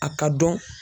A ka dɔn